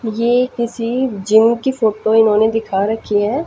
ये किसी जिम की फोटो इन्होंने दिखा रखी है।